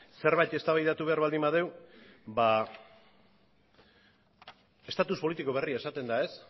zerbait eztabaidatu behar baldin badugu ba estatus politiko berria esaten da ez